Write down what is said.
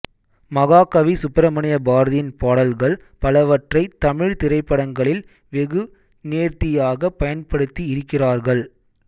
மகாகவி சுப்ரமணிய பாரதியின் பாடல்கள் பலவற்றை தமிழ் திரைப்படங்களில் வெகு நேர்த்தியாக பயன்படுத்தி இருக்கிறார்கள்